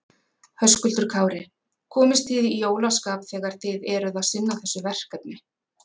Höskuldur Kári: Komist þið í jólaskap þegar þið eruð að sinna þessu verkefni?